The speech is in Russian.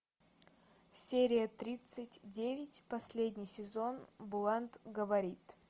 серия тридцать девять последний сезон блант говорит